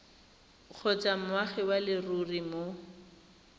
kgotsa moagi wa leruri mo